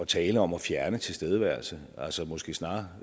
tale om at fjerne tilstedeværelsen altså måske snarere